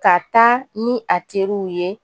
Ka taa ni a teriw ye